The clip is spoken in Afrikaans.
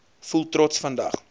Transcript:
voel trots vandag